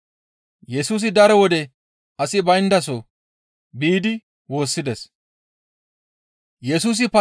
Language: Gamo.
Yesusi daro wode asi bayndaso biidi woossides.